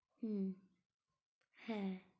হম হ্যাঁ।